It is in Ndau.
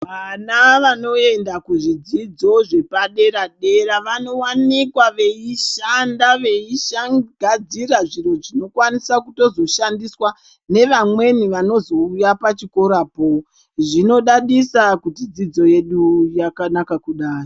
Vana vanoenda kuzvidzidzo zvepadera-dera vanovanika veishanda veigadzira zviro zvinokwanisa kutozoshandiswa nevamweni vanozouya pachikorapo. Zvinodadisa kuti dzidzo yedu yakanaka kudai.